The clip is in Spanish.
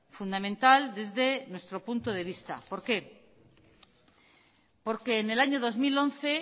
fundamental desde nuestro punto de vista por qué porque en el año dos mil once